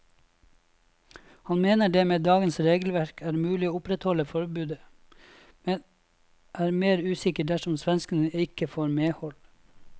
Han mener det med dagens regelverk er mulig å opprettholde forbudet, men er mer usikker dersom svenskene ikke får medhold.